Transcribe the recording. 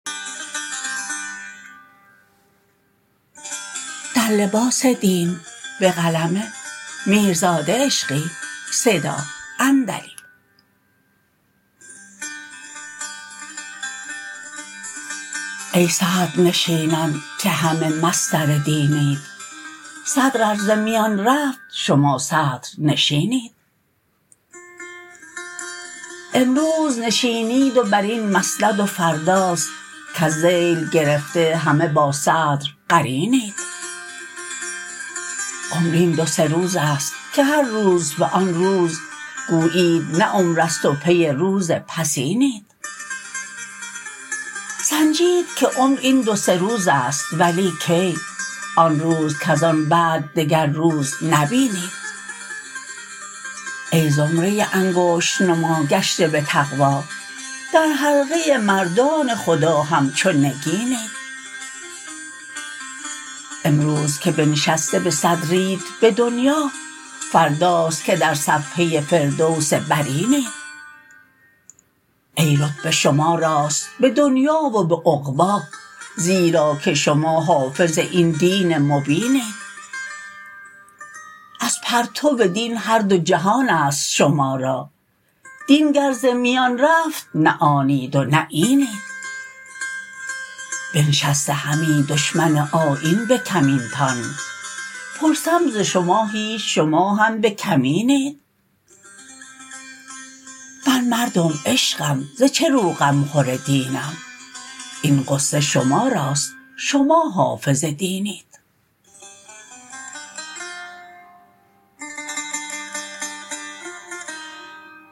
ای صدرنشینان که همه مصدر دینید صدر ار ز میان رفت شما صدر نشینید امروز نشینید و بر این مسند و فرداست کز ذیل گرفته همه با صدر قرینید عمر این دو سه روز است که هر روز به آن روز گویید نه عمر است و پی روز پسینید سنجید که عمر این دو سه روز است ولی کی آن روز کز آن بعد دگرروز نبینید ای زمره انگشت نما گشته به تقوی در حلقه مردان خدا همچو نگینید امروز که بنشسته به صدرید به دنیا فرداست که در صفحه فردوس برینید ای رتبه شما راست به دنیا و به عقبی زیرا که شما حافظ این دین مبینید از پرتو دین هر دو جهانست شما را دین گر ز میان رفت نه آنید و نه اینید بنشسته همی دشمن آیین به کمینتان پرسم ز شما هیچ شما هم به کمینید من مردم عشقم ز چه رو غمخور دینم این غصه شماراست شما حافظ دینید